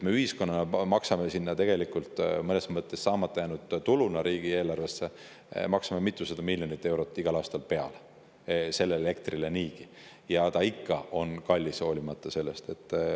Me ühiskonnana maksame riigieelarvesse saamata jäänud tuluna tegelikult niigi mõnes mõttes mitusada miljonit eurot igal aastal sellele elektrile peale, aga see on ikka kallis, hoolimata sellest.